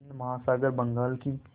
हिंद महासागर बंगाल की